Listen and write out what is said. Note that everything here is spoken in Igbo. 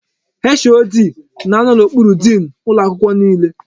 HOD na anọ n'okpuru diin ụlọ akwụkwọ niile.